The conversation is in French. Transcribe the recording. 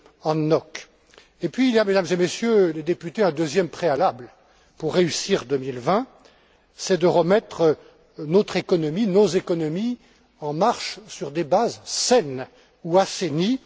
Hoang Ngoc sur ces sujets. Et puis, il y a, Mesdames et Messieurs les députés, un deuxième préalable pour réussir 2020, c'est de remettre notre économie, nos économies en marche sur des bases saines ou assainies.